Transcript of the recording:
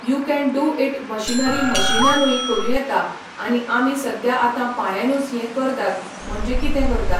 you can do it machinery मशिनानूय करूं येता आनी आमी सद्या आतां पांयांनूच ये करतात म्हणजें कितें करतात